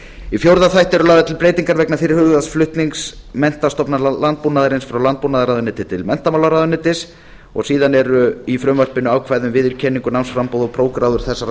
í fjórða þætti eru lagðar til breytingar vegna fyrirhugaðs flutnings menntastofnana landbúnaðarins frá landbúnaðarráðuneyti til menntamálaráðuneytis síðan eru í frumvarpinu ákvæði um viðurkenningu námsframboð og prófgráður